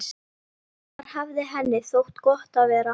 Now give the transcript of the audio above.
Þar hafði henni þótt gott að vera.